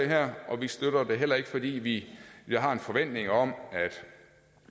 her og vi støtter det heller ikke fordi vi har en forventning om